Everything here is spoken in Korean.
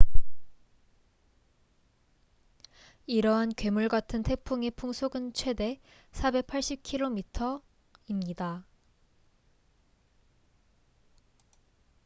이러한 괴물 같은 태풍의 풍속은 최대 480km/h 133m/s 300mph입니다